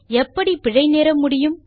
எப்படி பிழை நேர முடியும்